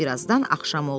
Bir azdan axşam oldu.